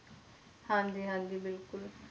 ਹਾਂਜੀ ਹਾਂਜੀ ਬਿਲਕੁਲ